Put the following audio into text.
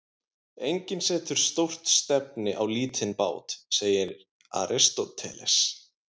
Enginn setur stórt stefni á lítinn bát, segir Aristóteles.